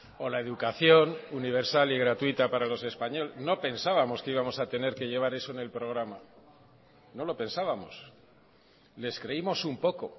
o la educación universal y gratuita para los españoles no pensábamos que íbamos a tener que llevar eso en el programa no lo pensábamos les creímos un poco